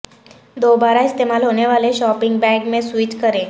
دوبارہ استعمال ہونے والے شاپنگ بیگ میں سوئچ کریں